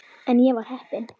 En ég var heppin.